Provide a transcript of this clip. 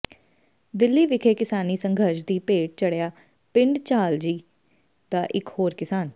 ਦਿੱਲੀ ਵਿਖੇ ਕਿਸਾਨੀ ਸੰਘਰਸ਼ ਦੀ ਭੇਟ ਚੜ੍ਹਿਆ ਪਿੰਡ ਛਾਜਲੀ ਦਾ ਇੱਕ ਹੋਰ ਕਿਸਾਨ